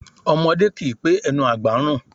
Ọmọdé kì í pé ẹnu àgbà ń rùn